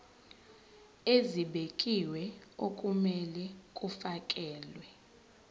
ezibekiwe okumele kufakelwe